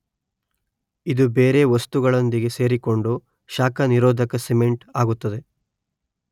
ಇದು ಬೇರೆ ವಸ್ತುಗಳೊಂದಿಗೆ ಸೇರಿಕೊಂಡು ಶಾಖ ನಿರೋಧಕ ಸಿಮೆಂಟ್ ಆಗುತ್ತದೆ.